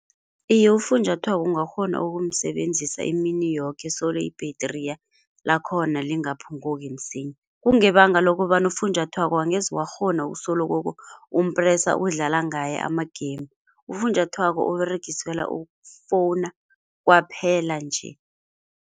Iye ufunjathwako ungakghona ukumsebenzisa imini yoke solo ibhetri lakhona lingaphunguki msinya. Kungebanga lokobana ufunjathwako angeze wakghona ukusoloko umpresa udlala ngaye ama-game. Ufunjathwako Uberegiselwa ukufowuna kwaphela nje.